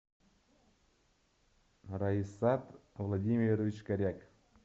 раисат владимирович коряк